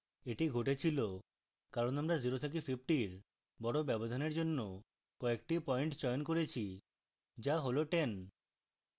এটি ঘটেছিল কারণ আমরা 0 থেকে 50 এর বড় ব্যবধানের জন্য কয়েকটি পয়েন্ট চয়ন করেছি যা হল 10